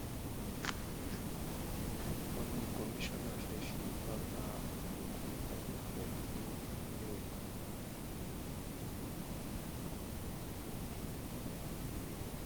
wọn ní kọmíṣánná fẹẹ fipá bá ọmọbìnrin kan lò pọ nípìnlẹ ogun